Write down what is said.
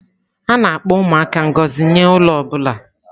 A na-akpọ ụmụaka ngọzi nye ụlọ ọ bụla.